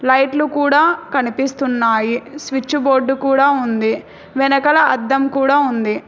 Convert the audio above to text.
లైట్లు కూడా కనిపిస్తున్నాయి స్విచ్ బోర్డు కూడా ఉంది వెనకాల అద్దం కూడా ఉంది.